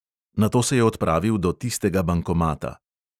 Nato se je odpravil do tistega bankomata.